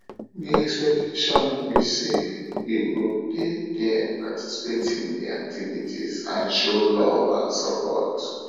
di expectation be say you go dey there participate in di activities and show love and support